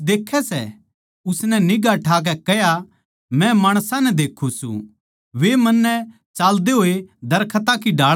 उसनै निगांह ठाकै कह्या मै माणसां नै देक्खूँ सूं वे मन्नै चाल्दे होये दरख्तां की ढाळ दिक्खै सै